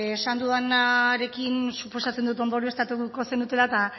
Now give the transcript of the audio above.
beno esan dudanarekin suposatzen dut ondorioztatuko zenutela eta